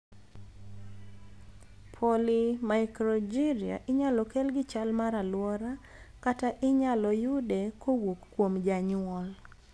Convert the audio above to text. Polymicrogyria inyalo kel gi chal mar aluora kata inyalo yude kowuok kuom janyuol.